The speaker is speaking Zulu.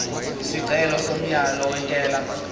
isicelo somyalo wentela